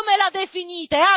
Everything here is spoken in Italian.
come lo definite